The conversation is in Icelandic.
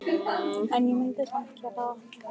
En ég myndi samt gera það.